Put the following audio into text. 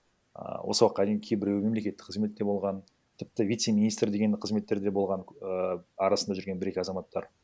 ааа осы уақытқа дейін кейбіреуі мемлекеттік қызметте болған тіпті вице министр деген қызметтерде болған ііі арасында жүрген бір екі азаматтар